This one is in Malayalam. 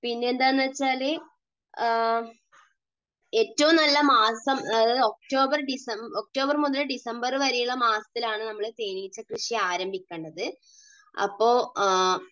പിന്നെയെന്താണെന്നുവച്ചാൽ ഏറ്റവും നല്ല മാസം ഒക്ടോബർ ഡിസംബർ, ഒക്ടോബർ മുതൽ ഡിസംബർ വരെയുള്ള മാസത്തിലാണ് നമ്മൾ തേനീച്ചക്കൃഷി ആരംഭിക്കേണ്ടത്. അപ്പോൾ ആ